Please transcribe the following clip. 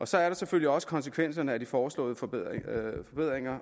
så er der selvfølgelig også konsekvenserne af de foreslåede forbedringer